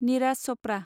eras Chopra